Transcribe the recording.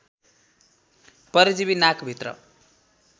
परजीवी नाक भित्र